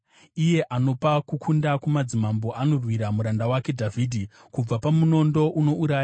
iye anopa kukunda kumadzimambo, anorwira muranda wake Dhavhidhi kubva pamunondo unouraya.